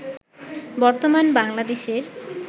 বর্তমান বাংলাদেশের